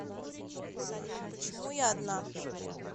салют почему я одна